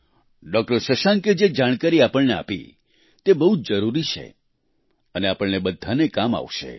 doctor શશાંકે જે જાણકારી આપણને આપી તે બહુ જ જરૂરી છે અને આપણને બધાને કામ આવશે